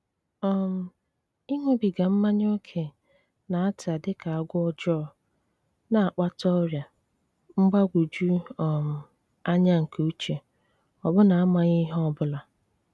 um Ịṅụbiga mmanya ókè na-ata dị ka agwọ ọjọọ, na-akpata ọrịa, mgbagwoju um anya nke uche, ọbụna amaghị ihe ọ bụla.